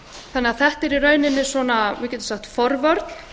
þannig að þetta er í rauninni við getum sagt forvörn